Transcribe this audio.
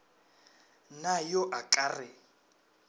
na yo a ka re